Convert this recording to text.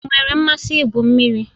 Ị nwere mmasị igwu mmiri?